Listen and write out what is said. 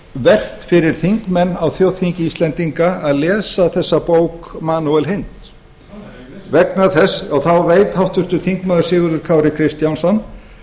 vert fyrir þingmenn á þjóðþingi íslendinga að lesa þessa bók manuel eins nei nei vegna þess að þá veit háttvirtur þingmaður sigurður kári kristjánsson